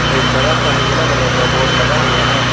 एक बड़ा सा नीला कलर का बोर्ड लगा हुआ है।